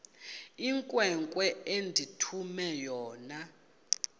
inkwenkwe endithume yona